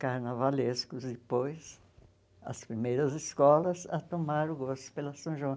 carnavalescos depois, as primeiras escolas, a tomar o gosto pela São João.